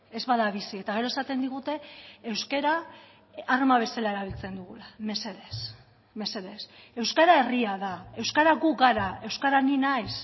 ez bada bizi eta gero esaten digute euskara arma bezala erabiltzen dugula mesedez mesedez euskara herria da euskara gu gara euskara ni naiz